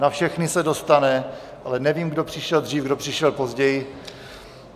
Na všechny se dostane, ale nevím, kdo přišel dřív, kdo přišel později.